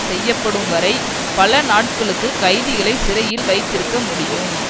செய்யப்படும் வரை பல நாட்களுக்கு கைதிகளை சிறையில் வைத்திருக்க முடியும்